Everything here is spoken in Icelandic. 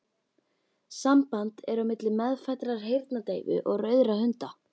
Samband er á milli meðfæddrar heyrnardeyfu og rauðra hunda.